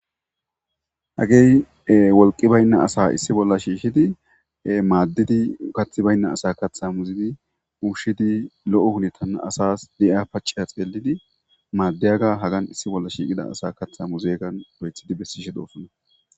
hagey wolqi baynna asa issi bolla shiishshidi maaddidi kathi baynna asa katha muzidi ushidi lo'o hunetana asas di'a pace xeelidi maaddiyaga hagan issi bolla shiiqida asa katha muzeegan lo'ethidi bessishe doosana